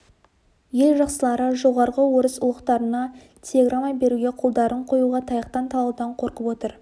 ел жақсылары жоғарғы орыс ұлықтарына телеграмма беруге қолдарын қоюға таяқтан талаудан қорқып отыр